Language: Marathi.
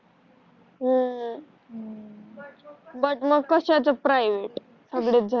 ह हम्म बग क्स्याच प्रयवेट सगळेच झाल